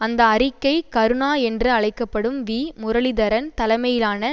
அந்த அறிக்கை கருணா என்று அழைக்க படும் வி முரளீதரன் தலைமையிலான